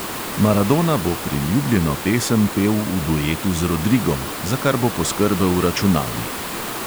Maradona bo priljubljeno pesem pel v duetu z rodrigom, za kar bo poskrbel računalnik.